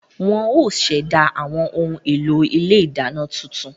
Wọ́n ó ṣẹ̀dá àwọn ohun èlò ilé ìdáná tuntun